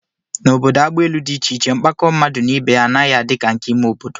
N'obodo agbaelu dị iche iche, mkpakọ mmadụ na ibe ya anaghị adị ka nke ime obodo